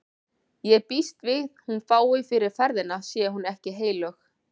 Ég býst við hún fái fyrir ferðina sé hún ekki heilög.